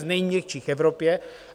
Z nejměkčích v Evropě.